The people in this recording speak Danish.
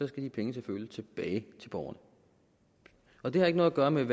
skal de penge selvfølgelig tilbage til borgerne og det har ikke noget at gøre med